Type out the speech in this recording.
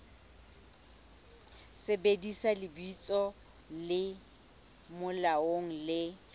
sebedisa lebitso le molaong le